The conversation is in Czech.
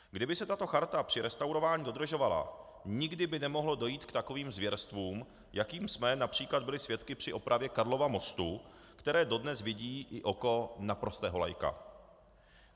Kdyby se tato charta při restaurování dodržovala, nikdy by nemohlo dojít k takovým zvěrstvům, jakých jsme například byli svědky při opravě Karlova mostu, které dodnes vidí i oko na prostého laika.